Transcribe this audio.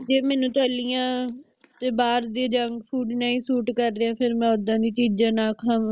ਤੇ ਮੈਨੂੰ ਤਲੀਆਂ ਤੇ ਬਾਹਰ ਦੇ junk food ਨਹੀਂ suit ਕਰਦੇ ਫਿਰ ਮੈਂ ਓਦਾਂ ਦੀ ਚੀਜ਼ਾਂ ਨਾ ਖਾਵਾਂ